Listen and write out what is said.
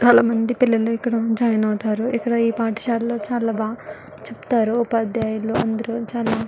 చాల మంది పిల్లలు ఇక్కడ జాయిన్ అవుతారు ఇక్కడ ఈ పాటశాలలో చాల బాగా చెపుతారు ఉపదియల్లు అందరు.